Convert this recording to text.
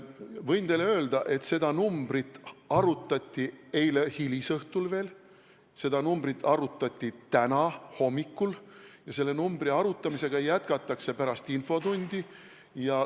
Võin teile öelda, et seda arutati veel eile hilisõhtul, seda arutati täna hommikul ja selle arutamisega jätkatakse pärast infotundi.